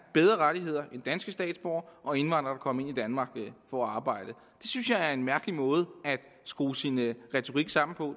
bedre rettigheder end danske statsborgere og indvandrere kommet ind i danmark for at arbejde det synes jeg er en mærkelig måde at skrue sin retorik sammen på